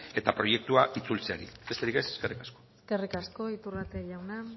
eta proiektua itzultzeari besterik ez eskerrik asko eskerrik asko iturrate jauna